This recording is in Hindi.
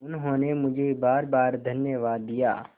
उन्होंने मुझे बारबार धन्यवाद दिया